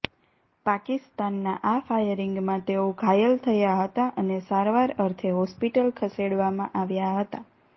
પાકિસ્તાનના આ ફાયરિંગમાં તેઓ ઘાયલ થયા હતાં અને સારવાર અર્થે હોસ્પિટલ ખસેડવામાં આવ્યાં હતાં